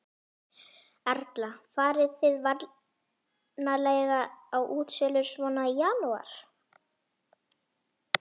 Erla: Farið þið vanalega á útsölur svona í janúar?